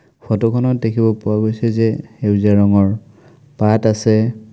Photo খনত দেখিব পোৱা গৈছে যে সেউজীয়া ৰঙৰ পাত আছে।